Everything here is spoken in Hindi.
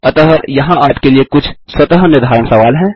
अतः यहाँ आपके के लिए कुछ स्वतः निर्धारण सवाल हैं